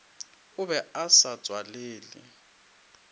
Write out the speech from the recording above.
o be a sa tswalele